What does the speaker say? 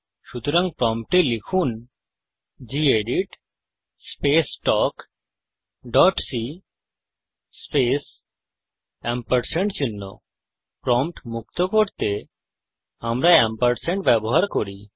সুতরাং প্রম্পটে লিখুন gedit space talk dot c space prompt মুক্ত করতে আমরা এম্পারস্যান্ড ব্যবহার করি